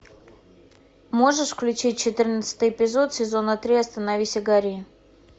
можешь включить четырнадцатый эпизод сезона три остановись и гори